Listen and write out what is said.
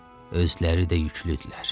Özləri də yüklüdülər.